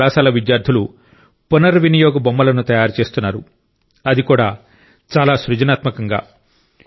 ఈ కళాశాల విద్యార్థులు పునర్వినియోగ బొమ్మలను తయారు చేస్తున్నారు అది కూడా చాలా సృజనాత్మకంగా